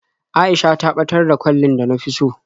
A'isha ta ɓatar da kwallin da na fi so.